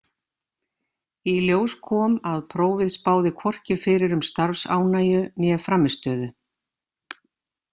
Í ljós kom að prófið spáði hvorki fyrir um starfsánægju né frammistöðu.